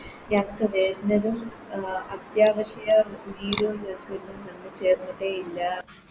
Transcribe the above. അത്യാവശ്യ ചേർന്നിട്ടേ ഇല്ല